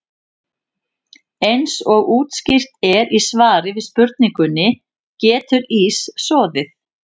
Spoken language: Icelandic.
Eins og útskýrt er í svari við spurningunni Getur ís soðið?